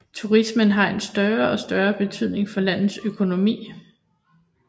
Turismen har en større og større betydning for landets økonomi